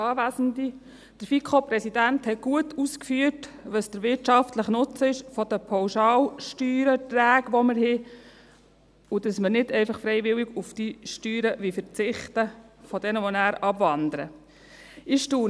Der FiKo-Präsident hat gut ausgeführt, welches der wirtschaftliche Nutzen der Pauschalsteuererträge ist, den wir haben, und dass wir nicht einfach freiwillig auf die Steuererträge derer, die dann abwandern, verzichten wollen.